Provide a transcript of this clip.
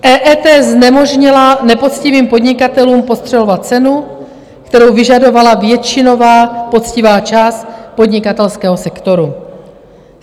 EET znemožnila nepoctivým podnikatelům podstřelovat cenu, kterou vyžadovala většinová poctivá část podnikatelského sektoru.